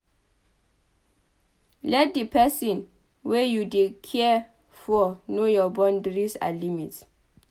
let di person wey you dey care for know your boundries and limit